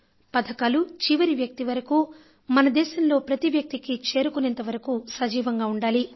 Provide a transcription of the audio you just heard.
పథకాలు చివరి వ్యక్తి వరకూ మన దేశంలో ప్రతి వ్యక్తికీ చేరుకునేంతవరకు సజీవంగా ఉండాలి